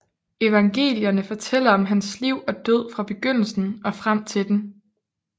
Evangelierne fortæller om hans liv og død fra begyndelsen og frem til den